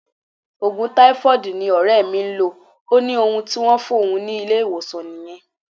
Ogun taifoodi ni ore mi n lo, o ni ohun ti won fun ni ile-iwosan niyen.